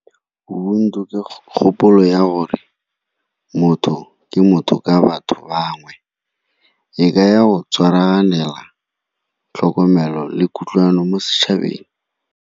Ubuntu ke kgopolo ya gore motho ke motho ka batho bangwe, e kaya go tshwanela tlhokomelo le kutlwano mo setšhabeng.